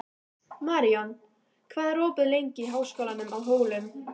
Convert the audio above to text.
Maríon, hvað er opið lengi í Háskólanum á Hólum?